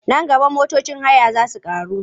Nan gaba motocin haya za su ƙaru.